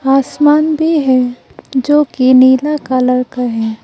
आसमान भी है जोकि नीला कलर का है।